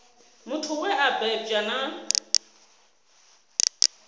muthu we a bebwa na